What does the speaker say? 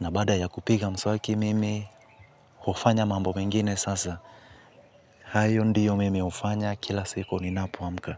na baada ya kupiga mswaki mimi hufanya mambo mingine sasa. Hayo ndiyo mimi hufanya kila siku ninapoamka.